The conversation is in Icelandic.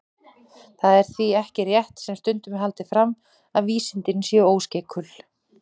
Það er því ekki rétt, sem stundum er haldið fram, að vísindin séu óskeikul.